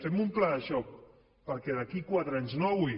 fem un pla de xoc perquè d’aquí a quatre anys no avui